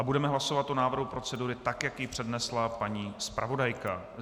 A budeme hlasovat o návrhu procedury, tak jak ji přednesla paní zpravodajka.